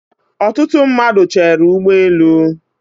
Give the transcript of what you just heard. Ọtụtụ mmadụ Chéré ụgbọ elu